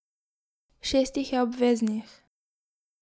Šest jih je obveznih.